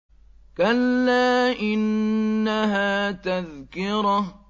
كَلَّا إِنَّهَا تَذْكِرَةٌ